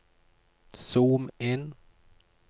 zoom inn